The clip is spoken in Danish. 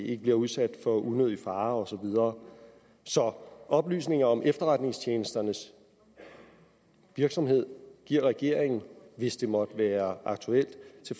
ikke udsættes for unødig fare og så videre så oplysninger om efterretningstjenesternes virksomhed giver regeringen hvis det måtte være aktuelt til